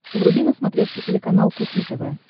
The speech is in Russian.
вруби на смотрешке телеканал кухня тв